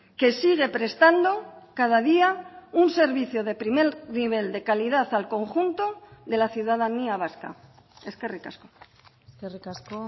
que sigue prestando cada día un servicio de primer nivel de calidad al conjunto de la ciudadanía vasca eskerrik asko eskerrik asko